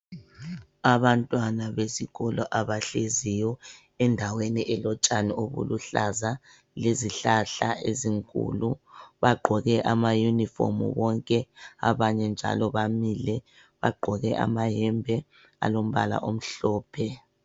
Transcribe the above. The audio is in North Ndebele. Abantwana besikolo abahleziyo endaweni elotshani obuluhlaza ephansi lezihlahla ezinkulu, bagqoke amayunifomu bonke abanye njalo bamile bagqoke amayembe alombala omhlophe.